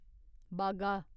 बागा